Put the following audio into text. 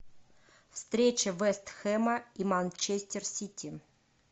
встреча вест хэма и манчестер сити